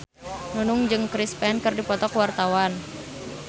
Nunung jeung Chris Pane keur dipoto ku wartawan